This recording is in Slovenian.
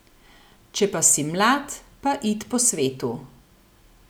Če pa si mlad, pa it po svetu.